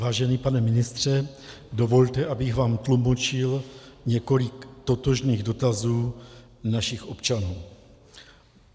Vážený pane ministře, dovolte, abych vám tlumočil několik totožných dotazů našich občanů.